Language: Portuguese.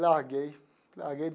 Larguei larguei.